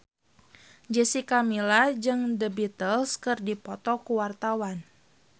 Jessica Milla jeung The Beatles keur dipoto ku wartawan